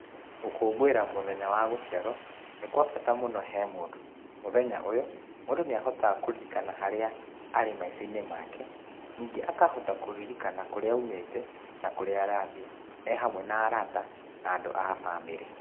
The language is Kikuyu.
Gũkũngũĩra mũthenya wa gũciarwo nĩ kwabata mũno he mũndũ, mũthenya ũyũ mũndũ nĩahotaga kũririkana harĩa arĩ maisha-inĩ make, ningĩ akohota kũririkana kũrĩa aumĩte na kũrĩa arathiĩ ehamwe na arata na andũ a bamĩrĩ.